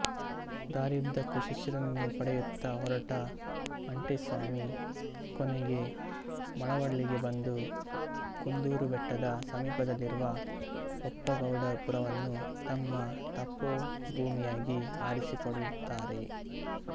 ದಾರಿಯುದ್ಧಕ್ಕೂ ಶಿಷ್ಯರನ್ನು ಪಡೆಯುತ್ತ ಹೊರಟ ಮಂಟೇಸ್ವಾಮಿ ಕೊನೆಗೆ ಮಳವಳ್ಳಿಗೆ ಬಂದು ಕುಂದೂರುಬೆಟ್ಟದ ಸಮೀಪದಲ್ಲಿರುವ ಬೊಪ್ಪಗೌಡಪುರವನ್ನು ತಮ್ಮ ತಪೋಭೂಮಿಯಾಗಿ ಆರಿಸಿಕೊಳ್ಳುತ್ತಾರೆ